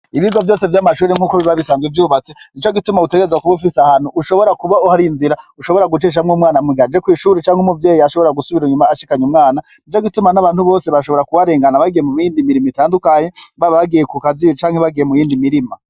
Ibigo vyamashure nkuko biba bisanzwe vyubatse Nico gituma utegerezwa kuba ufise ahantu gucishamwo umwanaa umujanye kw'ishure canke umuvyeyi ashobora gusubira inyuma ashikanye umwana Nico gituma nabantu bose bashobora kuharengana mumirimo itandukanye baba bagiye kukazi canke murundi mirimo.